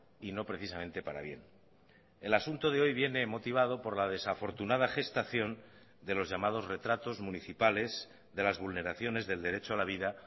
y no precisamente para bien el asunto de hoy viene motivado por la desafortunada gestación de los llamados retratos municipales de las vulneraciones del derecho a la vida